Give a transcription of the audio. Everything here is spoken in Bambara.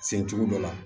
Sencogo dɔ la